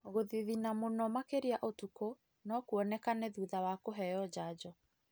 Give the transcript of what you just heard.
Gũthithina mũno makĩria ũtukũ nokwonekane thutha wa kũheo njanjo.